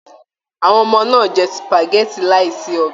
Àwọn ọmọ náà jẹ supágẹ̀tì láì sí ọbẹ.